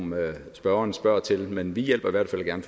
spørgeren spørger til men vi hjælper i hvert fald gerne